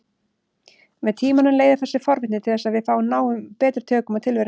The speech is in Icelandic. Með tímanum leiðir þessi forvitni til þess að við náum betri tökum á tilverunni.